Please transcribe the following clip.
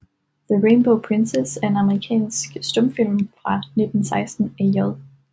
The Rainbow Princess er en amerikansk stumfilm fra 1916 af J